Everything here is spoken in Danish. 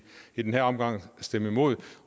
i den her omgang stemme imod